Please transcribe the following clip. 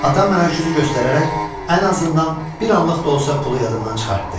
Atam mənə öküzü göstərərək ən azından bir anlıq da olsa pulu yadımdan çıxartdı.